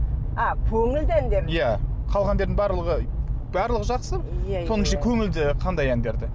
а көңілді әндер иә халық әндерінің барлығы барлығы жақсы соның ішінде көңілді қандай әндерді